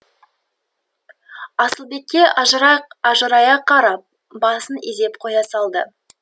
асылбекке ажырая қарап басын изеп қоя салды